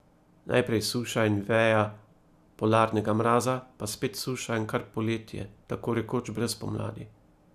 Naprej suša in veja polarnega mraza pa spet suša in kar poletje, tako rekoč brez pomladi.